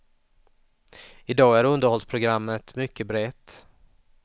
I dag är underhållsprogrammet mycket brett.